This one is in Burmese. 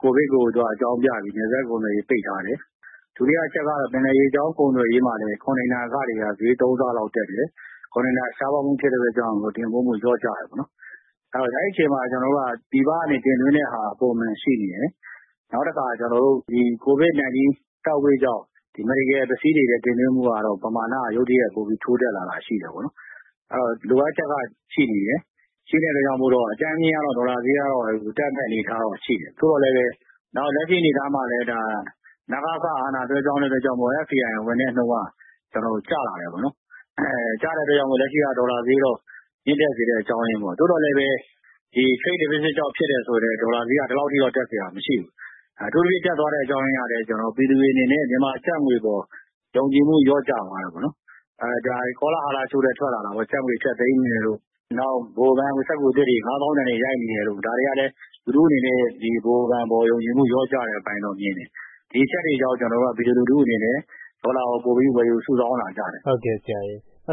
ကိုဗစ်ကို အကြောင်းပြပြီး နယ်စပ်ကုန်သွယ်ရေးကို ပိတ်ထားတယ်။ ဒုတိယအချက်ကတော့ ပင်လယ်ရေကြောင်း ကုန်သွယ်ရေးမှာ Container ခတွေက ဈေးသုံးဆလောက်တက်တယ်။ ကွန်တိန်နာ ရှားပါးမှုဖြစ်တဲ့အတွက်ကြောင့် တင်ပို့မှုလျော့ကျတယ်ပေါ့နော်။ အဲဒီအချိန်မှာ ကျနော်တို့က ပြည်ပကနေတင်သွင်းတဲ့ဟာက ပုံမှန်ရှိနေတယ်။ နောက်တခါ ကျနော်တို့က ကိုဗစ်-19 Third Wave ကြောင့် Medical ပစ္စည်းတွေလည်း တင်သွင်းမှုကတော့ ပမာဏ ရုတ်တရက်ထိုးတက်လာတာရှိတယ်။ လိုအပ်ချက်ကရှိနေတယ်။ ရှိတဲ့အတွက်ကြောင့်မို့ အကြမ်းဖျင်းအားဖြင့်တော့ ဒေါ်လာဈေးကတော့ တက်မယ့်အနေအထားတော့ ရှိနေတယ်။ နောက် လက်ရှိအနေအထားမှာလည်း နစက အာဏာလွှဲပြောင်းတဲ့အတွက်ကြောင့်မို့လည်း FDI ဝင်တဲ့နှုန်းက တော်တော်ကိုကျလာတယ်ပေါ့နော်။ ကျတဲ့အတွက်ကြောင့် လက်ရှိက ဒေါ်လာဈေးက မြင့်တက်စေတဲ့အကြောင်းရင်းပေါ့။ သို့သော်လည်း Trade Deficit ကြောင့်ဖြစ်တယ်ဆိုလည်း ဒေါ်လာဈေးက ဒီလောက်အထိတော့ တက်စရာမရှိဘူး။ အထူးသဖြင့် တက်သွားတဲ့အကြောင်းရင်းက ပြည်သူတွေအနေနဲ့ မြန်မာကျပ်ငွေအပေါ် ယုံကြည်မှု လျော့ကျသွားတယ်ပေါ့နော်။ ကောလဟာလတခုလည်း ထွက်လာတာပေါ့။ မြန်မာကျပ်ငွေ ဖျက်သိမ်းတယ်တို့၊ ဗဟိုဘဏ်က ငွေစက္ကူအသစ်တွေ ၅ သောင်းတန်တွေ ရိုက်နေတယ်တို့...ဒါတွေကလည်း လူထုအနေနဲ့ ဗဟိုဘဏ်အပေါ် ယုံကြည်မှု လျော့ကျတဲ့အပိုင်းလို့တော့ မြင်တယ်။ ဒီအချက်တွေကြောင့် ကျနော်တို့က ပြည်သူလူထုအနေနဲ့ ဒေါ်လာကို ပိုပြီးဝယ်ယူစုဆောင်းလာကြတယ်။ ဟုတ်ကဲ့ဆရာရေ့၊